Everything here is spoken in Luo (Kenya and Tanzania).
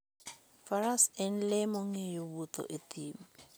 Faras en le mong'eyo wuotho e thim.